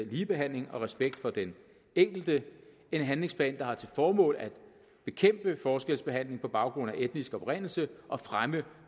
ligebehandling og respekt for den enkelte en handlingsplan der har til formål at bekæmpe forskelsbehandling på baggrund af etnisk oprindelse og fremme